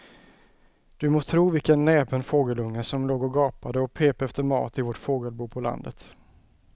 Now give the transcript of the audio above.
Du må tro vilken näpen fågelunge som låg och gapade och pep efter mat i vårt fågelbo på landet.